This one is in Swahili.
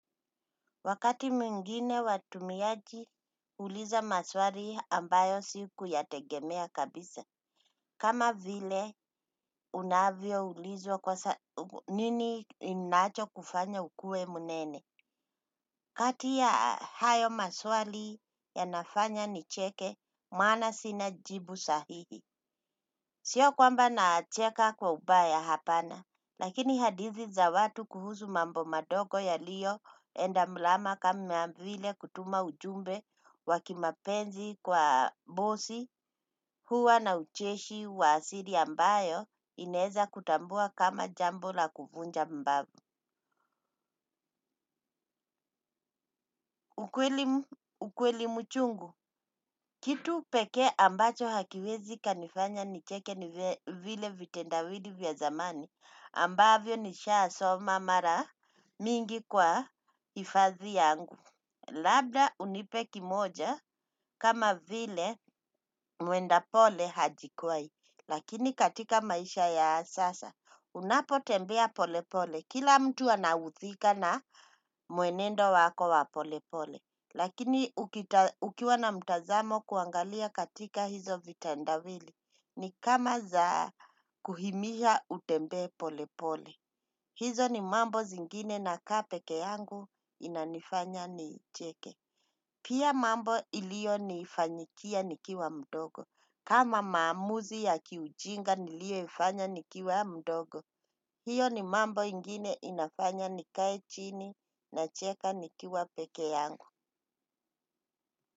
Wakati mwingine watumiaji huuliza maswali ambayo sikuyategemea kabisa. Kama vile unavyoulizwa nini kinachokufanya ukuwe mnene. Kati ya hayo maswali yanafanya nicheke, maana sina jibu sahihi. Sio kwamba nacheka kwa ubaya, hapana. Lakini hadithi za watu kuhusu mambo madogo yaliyoenda mrama kama vile kutuma ujumbe wa kimapenzi kwa bosi huwa na ucheshi wa asili ambayo inaeza kutambua kama jambo la kuvunja mbavu. Ukweli mchungu, kitu pekee ambacho hakiwezi kikanifanya nicheke ni vile vitendawili vya zamani, ambavyo nishasoma mara mingi kwa hifadhi yangu. Labda unipe kimoja kama vile mwenda pole hajikwai, lakini katika maisha ya sasa, unapotembea pole pole, kila mtu anaudhika na mwenendo wako wa pole pole. Lakini ukiwa na mtazamo kuangalia katika hizo vitendawili ni kama za kuhimiza utembee polepole. Hizo ni mambo zingine nakaa peke yangu inanifanya nicheke. Pia mambo ilionifanyikia nikiwa mdogo. Kama maamuzi ya kiujinga nilioyafanya nikiwa mdogo. Hiyo ni mambo ingine inafanya nikae chini nacheka nikiwa peke yangu.